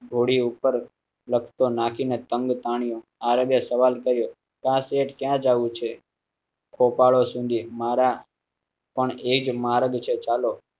ઘોડી ઉપર નાખીને લખ તો નાખીને તંબુ તાણીયા આરબે સવાલ કર્યું ક્યાં શેઠ ક્યાં જવું છે ખોપાળા સુધી મારા. પણ એક માર્ગ છે. ચાલો.